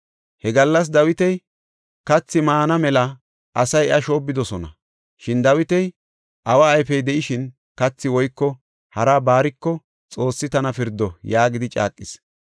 He gallas Dawiti kathi maana mela asay iya shoobbidosona. Shin Dawiti, “Awa ayfey de7ishin, kathi woyko haraba baariko Xoossi tana pirdo” yaagidi caaqis.